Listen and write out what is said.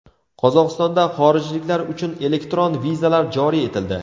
Qozog‘istonda xorijliklar uchun elektron vizalar joriy etildi.